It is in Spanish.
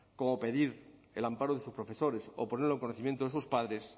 como pedir el amparo de sus profesores o ponerlo en conocimiento de sus padres